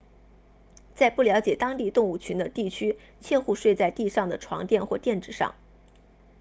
在不了解当地动物群的地区切勿睡在地上的床垫或垫子上